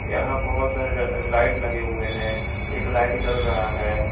यहां बहोत सारे लाइट लगे हुए हैं एक लाइट जल रहा है।